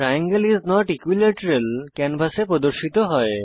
triangle is not equilateral ক্যানভাসে প্রদর্শিত হয়